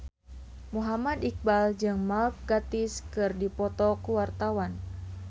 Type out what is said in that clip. Muhammad Iqbal jeung Mark Gatiss keur dipoto ku wartawan